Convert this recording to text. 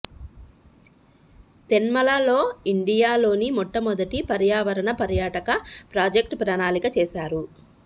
తేన్మల లోఇండియా లోని మొట్టమొదటి పర్యావరణ పర్యాటక ప్రాజెక్ట్ ప్రణాళిక చేసారు